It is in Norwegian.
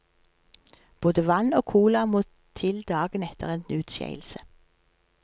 Både vann og cola må til dagen etter en utskeielse.